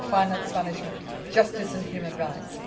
public finance management justice and human rights.